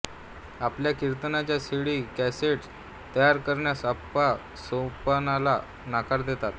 आपल्या कीर्तनाच्या CD cassettes तयार करण्यास अप्पा सोपानला नकार देतात